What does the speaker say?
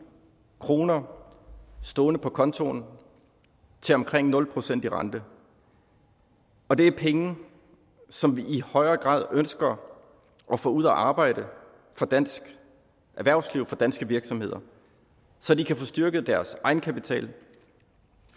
kroner stående på kontoen til omkring nul procent i rente og det er penge som vi i højere grad ønsker at få ud at arbejde for dansk erhvervsliv og danske virksomheder så de kan få styrket deres egenkapital og